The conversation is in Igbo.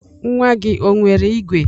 Nwa gị o nwere igwe?